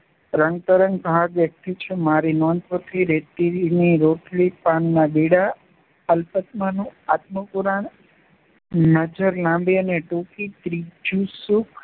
રંગતરંગ ભાગ એક થી છ મારી નોંધપોથી રેતીની રોટલી પાનનાં બીડાં અલ્પાત્માનું આત્મપુરાણ નજર લાંબી અને ટૂંકી ત્રીજું સુખ